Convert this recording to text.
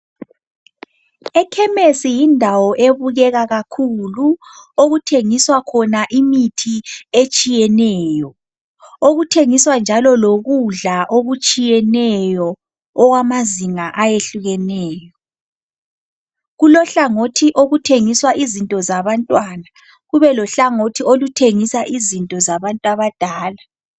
Ekhemesi yindawo ebukeka kakhulu okuthengiswa khona imithi etshiyeneyo okuthengiswa njalo lokudla okutshiyeneyo okwamazinga ayehlukeneyo kulohlangothi okuthengiswa izinto zabantwana kube lohlangothi oluthengisa izinto zabantu abadala .